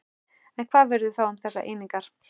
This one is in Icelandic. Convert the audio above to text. En hvað verður þá um þessar einingar?